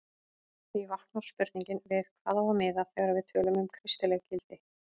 Því vaknar spurningin við hvað á að miða þegar við tölum um kristileg gildi?